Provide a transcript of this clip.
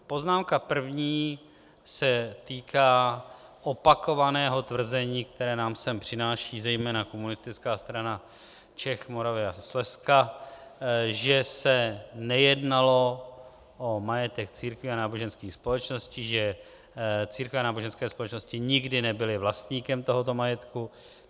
Poznámka první se týká opakovaného tvrzení, které nám sem přináší zejména Komunistická strana Čech, Moravy a Slezska, že se nejednalo o majetek církví a náboženských společností, že církve a náboženské společnosti nikdy nebyly vlastníkem tohoto majetku.